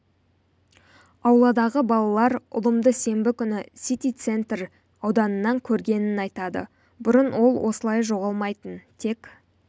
ауладағы балалар ұлымды сенбі күні сити центр ауданынан көргенін айтады бұрын ол осылай жоғалмайтын тек